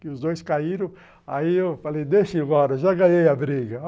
que os dois caíram, aí eu falei, deixa ir embora, já ganhei a briga.